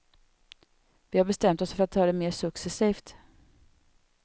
Vi har bestämt oss för att ta det mer successivt.